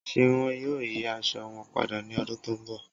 Ṣé wọ́n yóò yí àṣọ wọn pádà ní ọ̀dún tó nbọ̀?